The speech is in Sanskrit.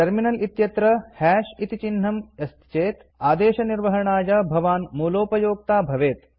टर्मिनल इत्यत्र हश् इति चिह्नम् अस्ति चेत् आदेशनिर्वहणाय भवान् मूलोपयोक्ता भवेत्